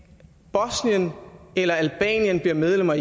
bosnien eller albanien bliver medlemmer af